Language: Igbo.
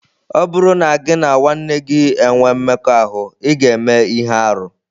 Ọ bụrụ na gị na nwanne gị enwee mmekọahụ, ị ​​ga-eme ihe arụ.